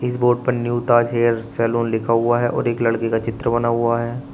Board पर new Taj hair salon लिखा हुआ है और एक लड़के का चित्र बना हुआ है।